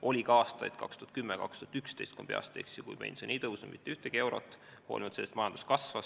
Oli ka aastaid – 2010 ja 2011, ma peast ütlen ja loodan, et ei eksi –, kui pension ei tõusnud mitte ühtegi eurot, hoolimata sellest, et majandus kasvas.